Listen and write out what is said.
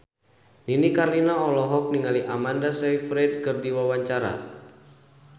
Nini Carlina olohok ningali Amanda Sayfried keur diwawancara